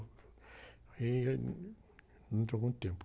Aí, é, dentro de algum tempo